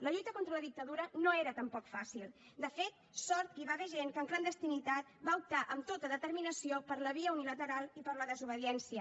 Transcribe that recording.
la lluita contra la dictadura no era tampoc fàcil de fet sort que hi va haver gent que en clandestinitat va optar amb tota determinació per la via unilateral i per la desobediència